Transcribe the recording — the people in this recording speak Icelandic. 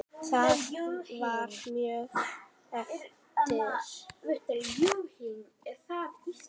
Það var mjög erfitt.